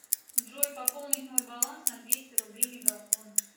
джой пополнить мой баланс на двести рублей мегафон